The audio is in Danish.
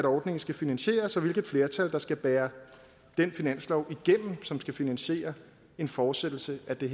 ordningen skal finansieres og hvilket flertal der skal bære den finanslov igennem som skal finansiere en fortsættelse af den